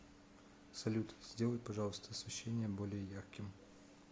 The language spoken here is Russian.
салют сделай пожалуйста освещение более ярким